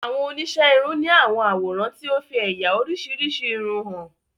Awon onise irun ni awọn aworan ti o fi eya orisirisi irun han